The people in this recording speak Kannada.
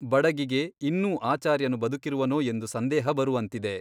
ಬಡಗಿಗೆ ಇನ್ನೂ ಆಚಾರ್ಯನು ಬದುಕಿರುವನೋ ಎಂದು ಸಂದೇಹ ಬರುವಂತಿದೆ.